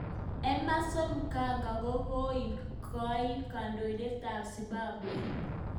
Emmerson Mnangagwa kokakiet koek kandoindet ab Zimbabwe.